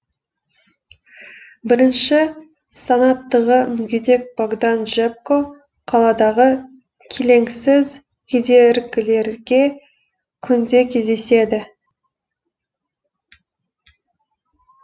бірінші санаттығы мүгедек богдан джебко қаладағы келеңсіз кедергілерге күнде кездеседі